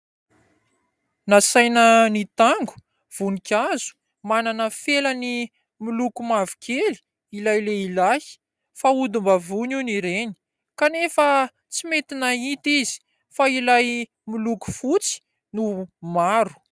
Nasaina nitango voninkazo manana felany miloko mavokely ilay lehilahy fa odim-bavony hony ireny kanefa tsy mety nahita izy fa ilay miloko fotsy no maro.